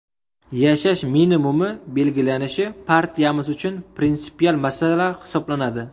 Yashash minimumi belgilanishi partiyamiz uchun prinsipial masala hisoblanadi.